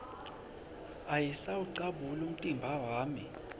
ayisawucabuli umtimba wami